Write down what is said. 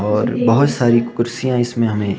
और बहुत सारी कुर्सियां इसमें हमें--